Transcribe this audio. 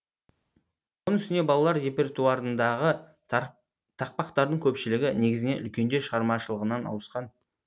оның үстіне балалар репертуарындағы тақпақтардың көпшілігі негізінен үлкендер шығармашылығынан ауысқан